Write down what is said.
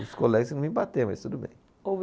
Os colegas me bater, mas tudo bem. O